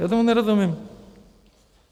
Já tomu nerozumím.